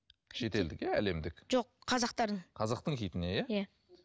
шетелдік иә әлемдік жоқ қазақтардың қазақтың хитіне иә иә